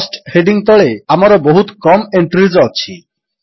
Costହେଡିଙ୍ଗ୍ ତଳେ ଆମର ବହୁତ କମ୍ ଏଣ୍ଟ୍ରୀଜ୍ ଅଛି